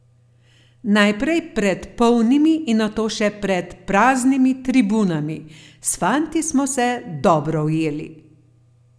Najprej pred polnimi in nato še pred praznimi tribunami: "S fanti smo se dobro ujeli.